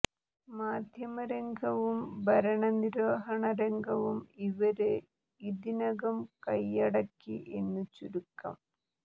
മാധ്യമരംഗവും ഭരണ നിര്വഹണ രംഗവും ഇവര് ഇതിനകം കൈയടക്കി എന്ന് ചുരുക്കം